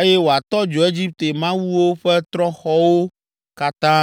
eye wòatɔ dzo Egipte mawuwo ƒe trɔ̃xɔwo katã.’ ”